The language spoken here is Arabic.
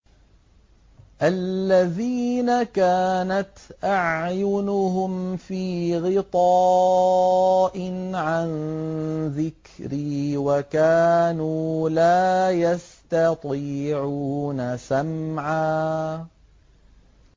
الَّذِينَ كَانَتْ أَعْيُنُهُمْ فِي غِطَاءٍ عَن ذِكْرِي وَكَانُوا لَا يَسْتَطِيعُونَ سَمْعًا